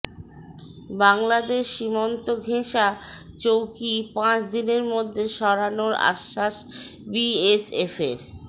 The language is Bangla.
বাংলাদেশ সীমান্তঘেঁষা চৌকি পাঁচ দিনের মধ্যে সরানোর আশ্বাস বিএসএফের